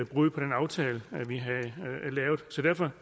brud på den aftale vi havde lavet så derfor